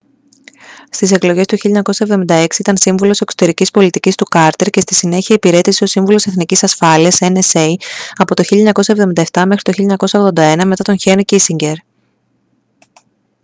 στις εκλογές του 1976 ήταν σύμβουλος εξωτερικής πολιτικής του κάρτερ και στη συνέχεια υπηρέτησε ως σύμβουλος εθνικής ασφάλειας nsa από το 1977 μέχρι το 1981 μετά τον χένρι κίσινγκερ